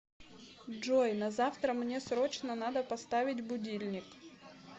джой на завтра мне срочно надо поставить будильник